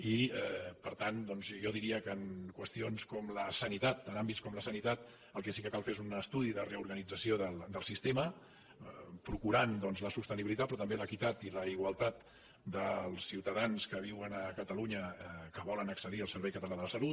i per tant jo diria que en qüestions com la sanitat en àmbits com la sanitat el que sí que cal fer és un estudi de reorganització del sistema procurant la sostenibilitat però també l’equitat i la igualtat dels ciutadans que viuen a catalunya i que volen accedir al servei català de la salut